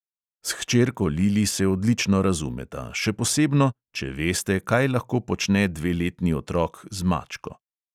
S hčerko lili se odlično razumeta, še posebno, če veste, kaj lahko počne dveletni otrok z mačko.